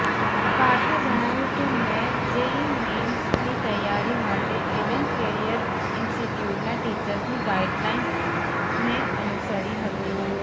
પાર્થે જણાવ્યું કે મેં જેઈઈ મેઈનની તૈયારી માટે એલન કેરિયર ઇન્સ્ટિટ્યૂટના ટીચર્સની ગાઈડલાઇનને અનુસરી હતી